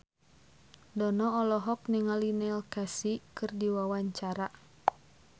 Dono olohok ningali Neil Casey keur diwawancara